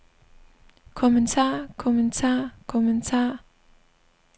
kommentar kommentar kommentar